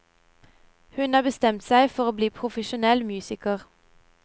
Hun har bestemt seg for å bli profesjonell musiker.